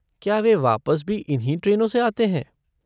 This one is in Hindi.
क्या वे वापस भी इन्हीं ट्रेनों से आते हैं?